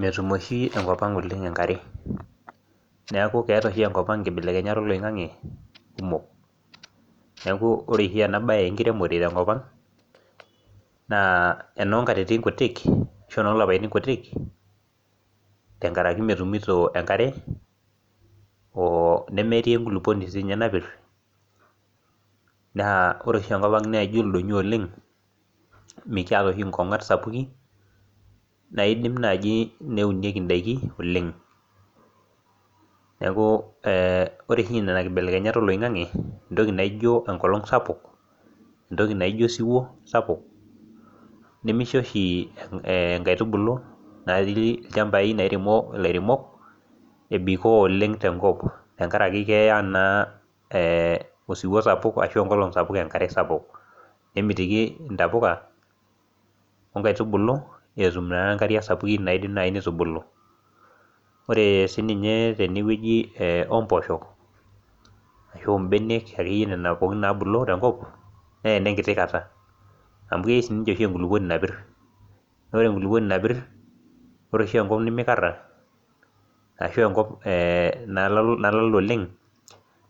Metum oshi enkop oleng enkare neeku keeta oshi enkop ang inkibelekenyat oloing'ang'e kumok neeku ore oshi ena baye enkiremore tenkop ang naa enonkatitin kutik ashu enolapaitin kutik tenkaraki metumito enkare o nemetii enkulupuoni sinye napirr naa ore oshi enkop ang naijio ildonyio oleng mikiata oshi inkong'at sapuki naidim naaji neunieki indaiki oleng neku eh ore oshi inena kibelekenyat oloing'ang'e entoki naijio enkolong sapuk entoki naijio osiwuo sapuk nemisho oshi eng inkaitubulu natii ilchambai nairemo ilairemok ebikoo oleng tenkop tenkarake keya naa eh osiwuo sapuk ashu enkolong sapuk enkare sapuk ore nemitiki intapuka onkaitubulu etum naa inkariak sapukin naidim naaji nitubulu ore sininye tenewueji e ompoosho ashu imbenek akeyie nena pooki nabulu tenkop nenenkiti kata amu kei sininche oshi enkulupuoni napirr ore enkulupuoni napirr ore oshi enkop nemikarra ashu enkop eh nalala oleng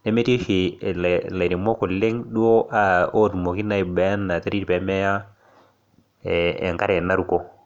nemetii oshi ela ilairemok oleng duo uh otumoki naa ena terit pemeya eh enkare naruko.